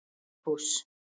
Vigfús